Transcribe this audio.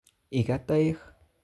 Ikat toek